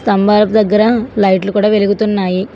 స్తంబాలపు దగ్గర లైట్లు కూడా వెలుగుతున్నాయి.